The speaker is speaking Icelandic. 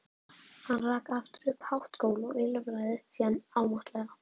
Hann rak aftur upp hátt gól og ýlfraði síðan ámáttlega.